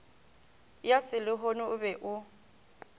ya selehono o be o